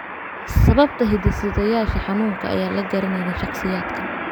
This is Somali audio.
Sababta hidde-sideyaasha xanuunkan ayaan la garanayn shakhsiyaadkan.